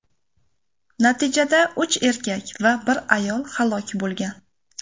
Natijada uch erkak va bir ayol halok bo‘lgan.